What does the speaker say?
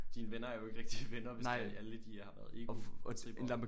Dine venner er jo ikke rigtige venner hvis det alle de har været egotrippere